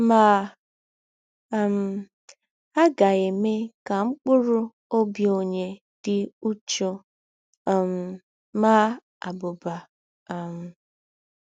Ma, um a ga - eme ka mkpụrụ ọbi ọnye dị ụchụ um maa abụba um. ”